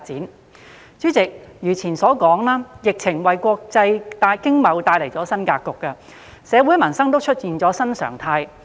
代理主席，如前所述，疫情為國際經貿帶來新格局，社會民生也出現了新常態。